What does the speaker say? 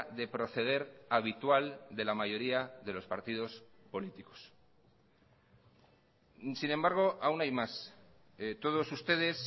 de proceder habitual de la mayoría de los partidos políticos sin embargo aún hay más todos ustedes